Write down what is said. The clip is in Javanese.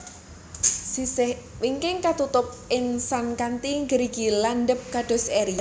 Sisih wingking katutup insang kanthi gerigi landhep kados eri